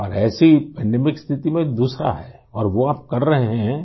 اور ایسی عالمی وباء کی صورت میں دوسرا ہے اور وہ آپ کر رہے ہیں